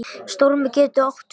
Stormur getur átt við